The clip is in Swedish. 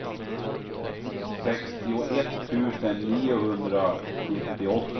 sextioett tusen niohundrasjuttioåtta